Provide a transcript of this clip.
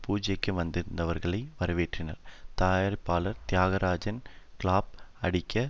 பூஜைக்கு வந்திருந்தவர்களை வரவேற்றனர் தயாரிப்பாளர் தியாகராஜன் கிளாப் அடிக்க